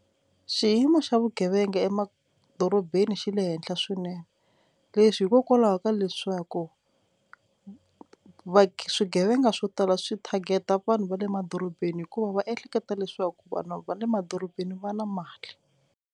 Xiyimo xa vugevenga emadorobeni xi le henhla swinene leswi hikokwalaho ka leswaku swigevenga swo tala swi target-a vanhu va le madorobeni hikuva va ehleketa leswaku vanhu va le madorobeni va na mali.